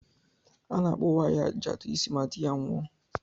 A na-akpụ nwaanyi ajadụ isi ma di ya nwụọ